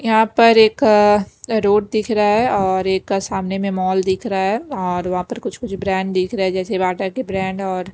यहाँ पर एक रोड दिख रहा है और एक सामने में मॉल दिख रहा हैऔर वहाँ पर कुछ-कुछ ब्रांड दिख रहा हैजैसे बाटा के ब्रांड और--